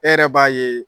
E yɛrɛ b'a ye